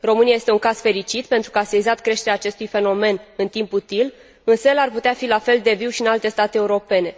România este un caz fericit, pentru că a sesizat creșterea acestui fenomen în timp util, însă el ar putea fi la fel de viu și în alte state europene.